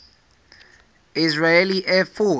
israeli air force